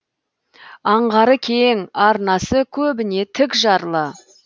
аңғары кең арнасы көбіне тік жарлы